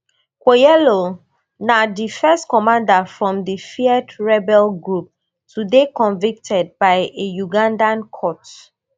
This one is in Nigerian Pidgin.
kwoyelo na di first commander from di feared rebel group to dey convicted by a ugandan court